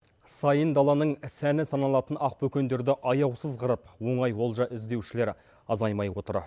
сайын даланың сәні саналатын ақбөкендерді аяусыз қырып оңай олжа іздеушілер азаймай отыр